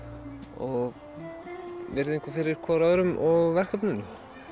og virðingu fyrir hvor öðrum og verkefninu